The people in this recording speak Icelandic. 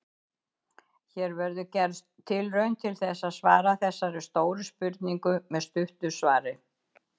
Hér verður gerð tilraun til þess að svara þessari stóru spurningu með stuttu svari.